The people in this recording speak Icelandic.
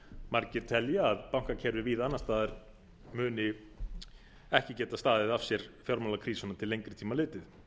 margir telja að bankakerfi víða annars staðar munu ekki geta staðið af sér fjármálakrísuna til lengri tíma litið